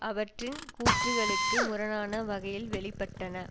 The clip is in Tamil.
அவற்றின் கூற்றுக்களுக்கு முரணான வகையில் வெளிப்பட்டன